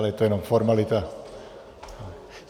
Ale to je jenom formalita.